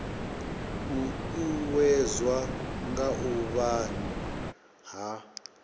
uuwedzwa nga u avhanya ha